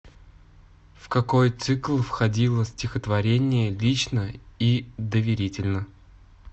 в какой цикл входило стихотворение лично и доверительно